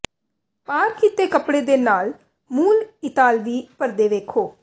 ਪਾਰ ਕੀਤੇ ਕੱਪੜੇ ਦੇ ਨਾਲ ਮੂਲ ਇਤਾਲਵੀ ਪਰਦੇ ਵੇਖੋ